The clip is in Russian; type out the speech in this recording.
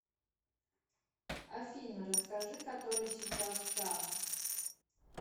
афина расскажи который сейчас час